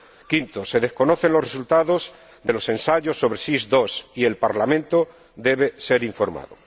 Quinto, se desconocen los resultados de los ensayos sobre el SIS II y el Parlamento debe ser informado.